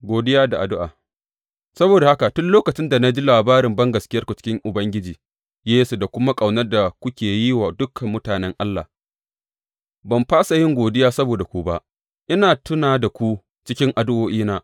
Godiya da addu’a Saboda haka, tun lokacin da na ji labarin bangaskiyarku cikin Ubangiji Yesu da kuma ƙaunar da kuke yi wa dukan mutanen Allah, ban fasa yin godiya saboda ku ba, ina tuna da ku cikin addu’o’ina.